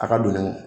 A ka don nin